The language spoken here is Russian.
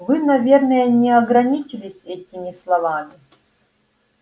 вы наверное не ограничились этими словами